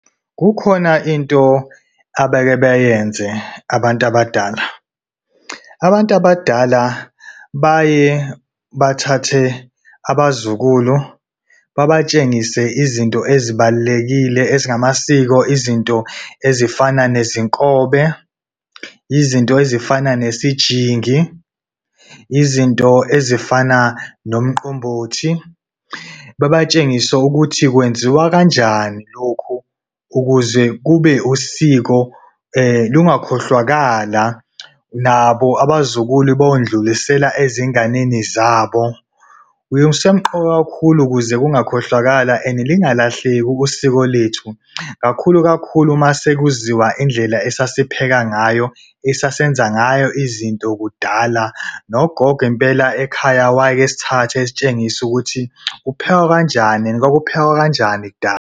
Kukhona into abeke beyenze abantu abadala. Abantu abadala baye bathathe abazukulu babatshengise izinto ezibalulekile ezingamasiko izinto ezifana nezinkobe, izinto ezifana nesijingi, izinto ezifana nomqombothi. Babatshengisa ukuthi kwenziwa kanjani lokhu ukuze kube usiko lungakhohlwakhala, nabo abazukulu bayondlulisela ezinganeni zabo. Kusemqoka kakhulu ukuze ungakhohlakalwa and lingalahleki usiko lwethu kakhulu kakhulu uma sekuziwa indlela esasipheka ngayo esasenza ngayo izinto kudala. Nogogo impela ekhaya wayeke esithathe esitshengisa ukuthi kuphekwa kanjani and kwakuphekwa kanjani kudala.